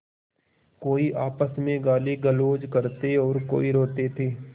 कोई आपस में गालीगलौज करते और कोई रोते थे